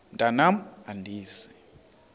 mntwan am andizi